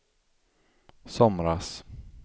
somras